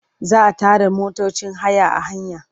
Za a tare motocin haya a hanya.